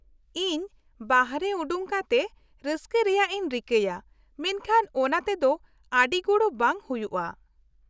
-ᱤᱧ ᱵᱟᱦᱨᱮ ᱚᱰᱳᱝ ᱠᱟᱛᱮ ᱨᱟᱹᱥᱠᱟᱹ ᱨᱮᱭᱟᱜ ᱤᱧ ᱨᱤᱠᱟᱹᱭᱟ ᱢᱮᱱᱠᱷᱟᱱ ᱚᱱᱟᱛᱮ ᱫᱚ ᱟᱹᱰᱤ ᱜᱚᱲᱚ ᱵᱟᱝ ᱦᱩᱭᱩᱜᱼᱟ ᱾